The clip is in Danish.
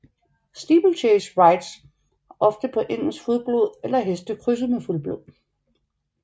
Steeplechase rides oftest på engelsk fuldblod eller heste krydset med fuldblod